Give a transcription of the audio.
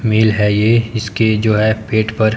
मिल है ये इसके जो है पेट पर--